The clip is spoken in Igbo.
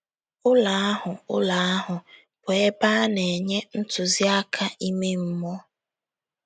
Ụlọ ahụ Ụlọ ahụ bụ ebe a na-enye ntụziaka ime mmụọ.